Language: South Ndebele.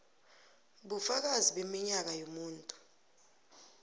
bufakazi beminyaka yomuntu